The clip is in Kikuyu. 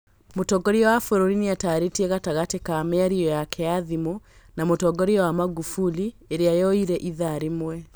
Mũtongoria wa bũrũri nĩatarĩirie gatagatĩ ka mĩario yake ya thimũ na mũtongoria wa Magufuli ĩrĩa yoire itha rĩmwe